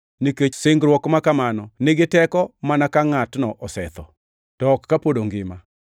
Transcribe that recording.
nikech singruok ma kamano nigi teko mana ka ngʼatno osetho, to ok kapod ongima.